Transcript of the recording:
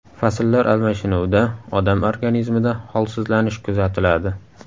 Fasllar almashinuvida odam organizmida holsizlanish kuzatiladi.